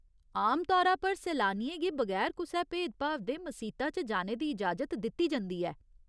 आम तौरा पर सैलानियें गी बगैर कुसै भेदभाव दे मसीता च जाने दी इजाजत दित्ती जंदी ऐ।